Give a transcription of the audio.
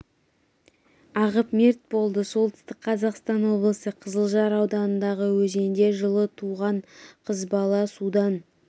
ағып мерт болды солтүстік қазақстан облысы қызылжар ауданындағы өзенде жылы туған қыз бала да судан